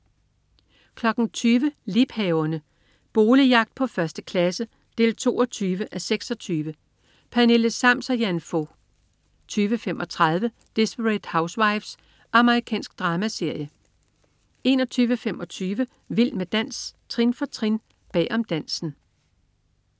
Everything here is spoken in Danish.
20.00 Liebhaverne. Boligjagt på 1. klasse 22:26. Pernille Sams og Jan Fog 20.35 Desperate Housewives. Amerikansk dramaserie 21.25 Vild med dans, trin for trin. Bag om dansen